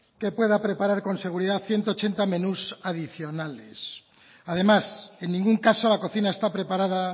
que pueda preparar con seguridad ciento ochenta menús adicionales además en ningún caso la cocina está preparada